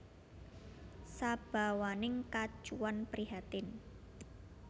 Sabawaning kacuwan prihatin